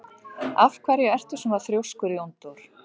Af hverju ertu svona þrjóskur, Jóndór?